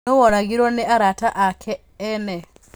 Nũũ woragirũo nĩ arata ake ene.